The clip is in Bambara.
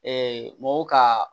mɔgɔw ka